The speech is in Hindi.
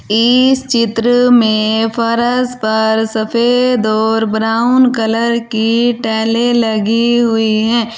इस चित्र में फरस पर सफेद और ब्राउन कलर की टैलें लगी हुई हैं।